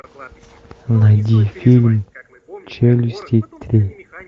найди фильм челюсти три